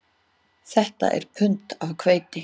Þetta er pund af hveiti